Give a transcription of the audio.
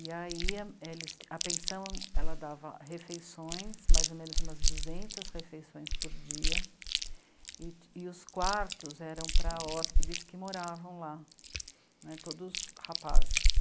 E aí a pensão ela dava refeições, mais ou menos umas duzentas refeições por dia, e e os quartos eram para hóspedes que moravam lá, né, todos rapazes.